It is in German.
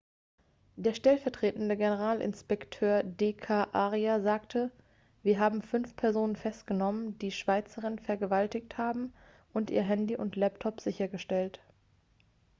der stellvertretende generalinspekteur d k arya sagte wir haben fünf personen festgenommen die die schweizerin vergewaltigt haben und ihr handy und laptop sichergestellt